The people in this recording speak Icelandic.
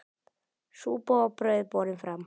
Súpa og brauð borin fram.